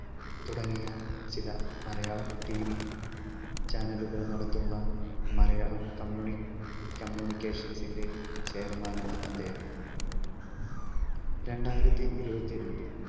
തുടങ്ങിയ ചില Malayalam TV Channel കൾ നടത്തുന്ന മലയാളം കമ്മ്യൂണി communications ന്റെ chairman നാണ് അദ്ദേഹം. രണ്ടായിരത്തി ഇരുപത്തിരണ്ടിൽ